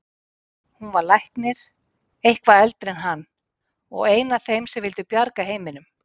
Hún var læknir, eitthvað eldri en hann, og ein af þeim sem vildu bjarga heiminum.